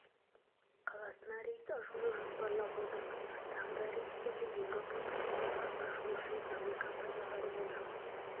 қаласына рейс ашуды жоспарлап отырмыз тағы да рейстерді еуропа турцияға ашу үшін әуе компанияларымен жұмыс